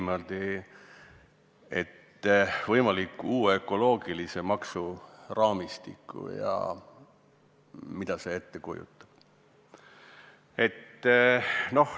Milline on võimalik uue ökoloogilise maksu raamistik ja mida see endast kujutab.